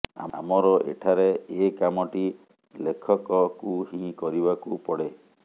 ଆମର ଏଠାରେ ଏ କାମଟି ଲେଖକକୁ ହିଁ କରିବାକୁ ପଡ଼େ